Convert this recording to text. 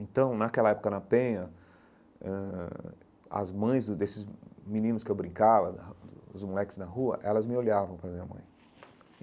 Então, naquela época na Penha, ãh as mães desses meninos que eu brincava, da dos moleques na rua, elas me olhavam para a minha mãe.